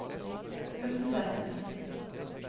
Unset